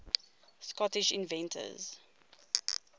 scottish inventors